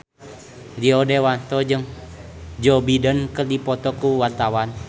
Rio Dewanto jeung Joe Biden keur dipoto ku wartawan